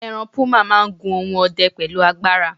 eran puma ma n gun ohun ọdẹ pẹlu agbara